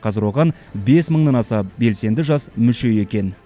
қазір оған бес мыңнан аса белсенді жас мүше екен